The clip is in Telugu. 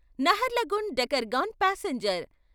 నహర్లగున్ డెకర్గాన్ పాసెంజర్